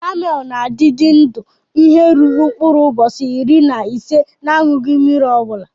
Kamel na adidi ndụ ihe ruru nkpurụ ubosi iri na ise n'anyuyi mmiri obula.